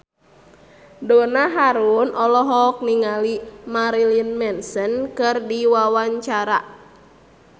Donna Harun olohok ningali Marilyn Manson keur diwawancara